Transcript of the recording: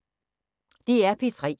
DR P3